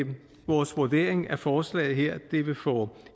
vores vurdering at forslaget her vil få